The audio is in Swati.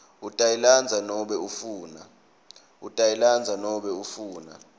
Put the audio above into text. utayilandza nobe ufuna